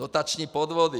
Dotační podvody.